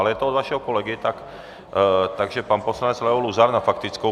Ale je to od vašeho kolegy, takže pan poslanec Leo Luzar na faktickou.